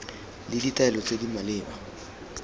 le ditaelo tse di maleba